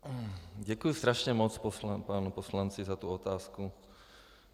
Děkuji strašně moc panu poslanci za tu otázku.